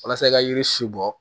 Walasa i ka yiri si bɔ